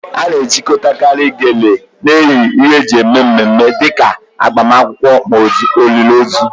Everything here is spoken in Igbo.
A na-ejikọtakarị Gele na ihe eji eme mmemme dị ka agbamakwụkwọ ma ọ bụ olili ozu